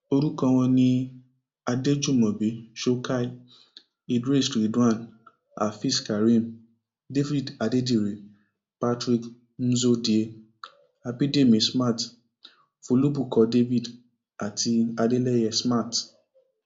orúkọ wọn ni adéjúmobi shokhaie idris ridwan afeezkareem david adedire patrick muodozie abidemi smart folubukkọ david àti adeleye smart